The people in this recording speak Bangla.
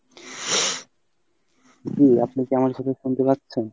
জি আপনি কী আমার কথা শুনতে পাচ্ছেন?